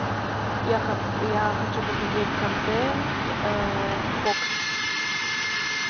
я хочу посмотреть контент фокс